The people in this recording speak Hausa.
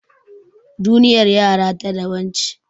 Duniyar yara ta daban ce.